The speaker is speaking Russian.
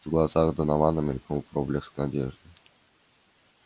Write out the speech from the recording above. в глазах донована мелькнул проблеск надежды